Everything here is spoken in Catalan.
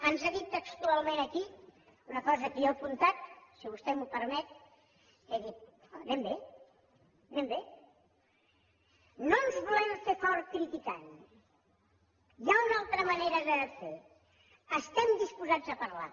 ens ha dit textualment aquí una cosa que jo he apuntat si vostè m’ho permet anem bé no ens volem fer forts criticant hi ha una altra manera de fer estem disposats a parlar